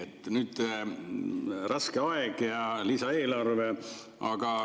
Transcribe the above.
On raske aeg ja lisaeelarve.